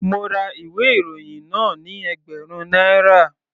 Mo ra ìwé ìròyìn náà ni ẹgbẹ̀rún náírà.